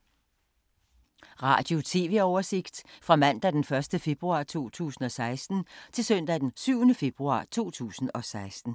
Radio/TV oversigt fra mandag d. 1. februar 2016 til søndag d. 7. februar 2016